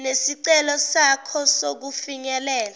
nesicelo sakho sokufinyelela